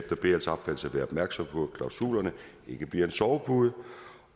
være opmærksom på at klausulerne ikke bliver en sovepude